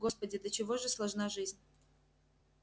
господи до чего же сложна жизнь